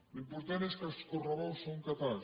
l’important és que els correbous són catalans